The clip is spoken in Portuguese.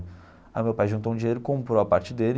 Aí meu pai juntou um dinheiro, comprou a parte dele,